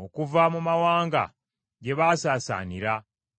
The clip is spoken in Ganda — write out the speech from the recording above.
okuva mu mawanga gye baasaasaanira,